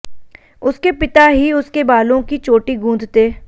उसके पिता ही उसके बालों की चोटी गूंथते